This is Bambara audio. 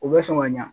U bɛ sɔn ka ɲɛ